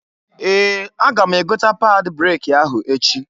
Ee! Aga m egota pad breki ahụ echi.